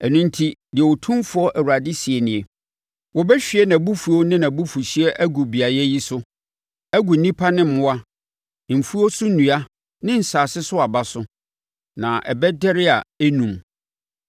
“Ɛno enti, deɛ Otumfoɔ Awurade seɛ nie: Wɔbɛhwie mʼabufuo ne mʼabufuhyeɛ agu beaeɛ yi so, agu nnipa ne mmoa, mfuo so nnua ne asase no so aba so, na ɛbɛdɛre a ɛrennum.